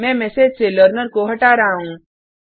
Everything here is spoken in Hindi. मैं मेसेज से लर्नर को हटा रहा हूँ